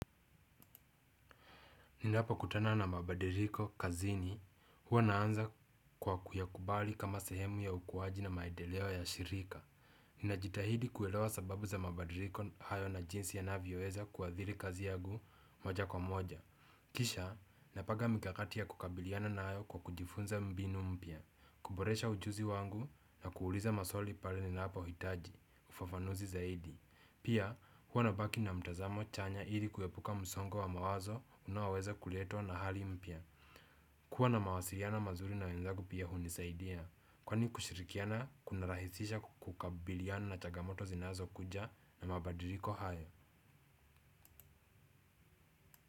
Ninapa kutana na mabadiriko kazini, huwa naanza kwa kuyakubali kama sehemu ya ukuwaji na maedeleo ya shirika. Ninajitahidi kuelewa sababu za mabadiriko hayo na jinsi yanavyoweza kuwadhiri kazi yagu moja kwa moja. Kisha, napaga mikakati ya kukabiliana nayo kwa kujifunza mbinu mpya, kuboresha ujuzi wangu na kuuliza maswali pale ninapohitaji, ufafanuzi zaidi. Pia huwa nabaki na mtazamo chanya ili kuepuka msongo wa mawazo unaoweza kuletwa na hali mpya. Kuwa na mawasiliano mazuri na wenzagu pia hunisaidia. Kwani kushirikiana kuna rahisisha kukabiliana na chagamoto zinazo kuja na mabadiriko hayo.